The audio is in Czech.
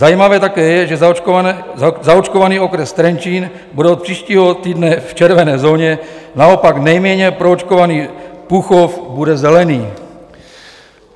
Zajímavé také je, že zaočkovaný okres Trenčín bude od příštího týdne v červené zóně, naopak nejméně proočkovaný Púchov bude zelený.